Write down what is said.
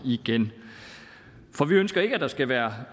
igen for vi ønsker ikke at der skal være